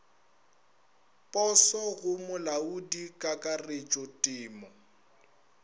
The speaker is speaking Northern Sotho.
poso go molaodi kakaretšo temo